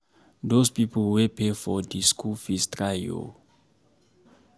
Those people wey pay for the school fees try oo